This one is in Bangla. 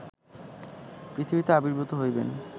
পৃথিবীতে আবির্ভূত হইবেন